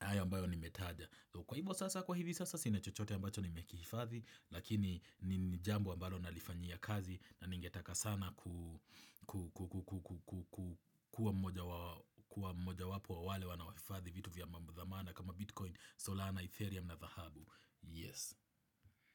hayo ambayo nimetaja kwa hivyo sasa kwa hivyo sasa sina chochote ambacho nimekifadhi lakini nijambu ambao nalifanyia kazi na ningetaka sana kuwa mmoja wapu wa wale wanawafafadhi vitu vya mbamu dhamana kama Bitcoin, Solana, Ethereum na dhahabu Yes.